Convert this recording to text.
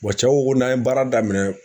cɛ ko ko n'an ye baara daminɛ